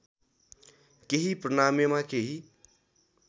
केही प्रणामीमा केही